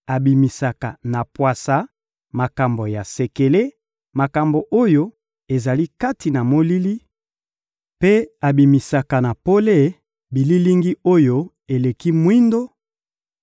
abimisaka na pwasa, makambo ya sekele, makambo oyo ezali kati na molili, mpe abimisaka na pole bililingi oyo eleki mwindo;